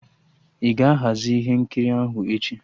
Ị ga-ahazi ihe nkiri ahụ echi?